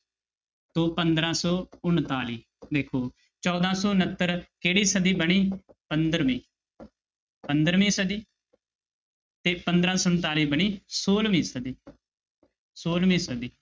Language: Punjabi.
ਤੋਂ ਪੰਦਰਾਂ ਸੌ ਉਣਤਾਲੀ ਵੇਖੋ ਚੌਦਾਂ ਸੌ ਉਣਤਰ ਕਿਹੜੀ ਸਦੀ ਬਣੀ ਪੰਦਰਵੀਂ ਪੰਦਰਵੀਂ ਸਦੀ ਤੇ ਪੰਦਰਾਂ ਸੌ ਉਣਤਾਲੀ ਬਣੀ ਛੋਲਵੀਂ ਸਦੀ ਛੋਲਵੀਂ ਸਦੀ।